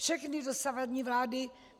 Všechny dosavadní vlády...